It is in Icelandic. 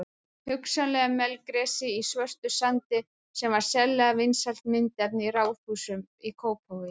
Hugsanlega melgresi í svörtum sandi sem var sérlega vinsælt myndefni í raðhúsum í Kópavogi.